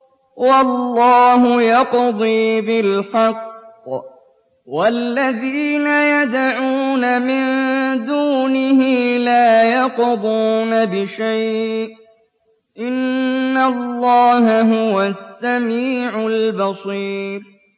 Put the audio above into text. وَاللَّهُ يَقْضِي بِالْحَقِّ ۖ وَالَّذِينَ يَدْعُونَ مِن دُونِهِ لَا يَقْضُونَ بِشَيْءٍ ۗ إِنَّ اللَّهَ هُوَ السَّمِيعُ الْبَصِيرُ